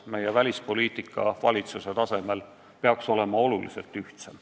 Meie välispoliitika valitsuse tasemel peaks olema oluliselt ühtsem.